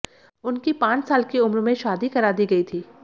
उनकी पांच साल की उम्र में शादी करा दी गई थी